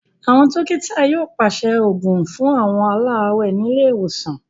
Àwọn dọ́kítá yóò pàṣẹ òògùn fún àwọn aláàárẹ̀ ní ilé ìwòsàn.